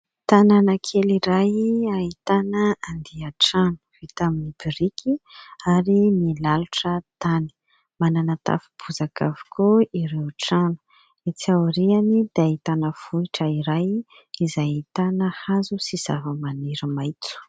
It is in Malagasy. Tanàna kely iray ahitana andian-trano vita amin'ny biriky ary milalotra tany. Manana tafo bozaka avokoa ireo trano. Etsy aoriany dia ahitana vohitra iray izay ahitana hazo sy zavamaniry maitso.